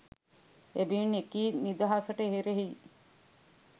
එබැවින් එකී නිදහසට එරෙහි